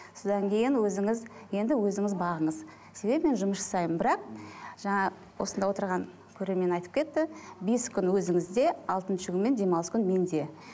содан кейін өзіңіз енді өзіңіз бағыңыз себебі мен жұмыс жасаймын бірақ жаңа осында отырған көрермен айтып кетті бес күн өзіңізде алтыншы күн мен демалыс күн менде